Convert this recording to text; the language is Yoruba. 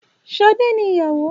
Ṣadé ni ìyàwó